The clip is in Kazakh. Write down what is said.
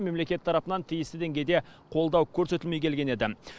мемлекет тарапынан тиісті деңгейде қолдау көрсетілмей келген еді